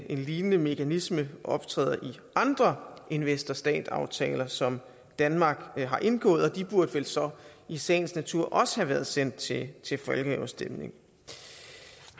lignende mekanisme optræder i andre investor stat aftaler som danmark har indgået og de burde vel så i sagens natur også have været sendt til til folkeafstemning